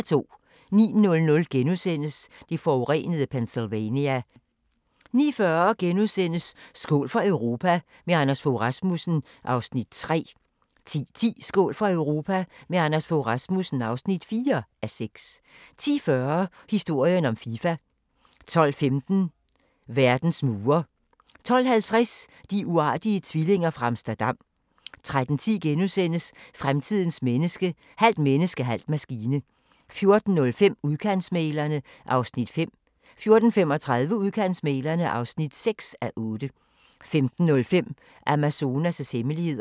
09:00: Det forurenede Pennsylvania * 09:40: Skål for Europa – med Anders Fogh Rasmussen (3:6)* 10:10: Skål for Europa – med Anders Fogh Rasmussen (4:6) 10:40: Historien om Fifa 12:15: Verdens mure 12:50: De uartige tvillinger fra Amsterdam 13:10: Fremtidens menneske – halvt menneske, halv maskine * 14:05: Udkantsmæglerne (5:8) 14:35: Udkantsmæglerne (6:8) 15:05: Amazonas' hemmeligheder